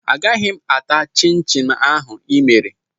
Agaghị m ata chịn chịn ahụ ị mere